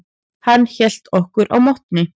Hann hélt okkur á mottunni.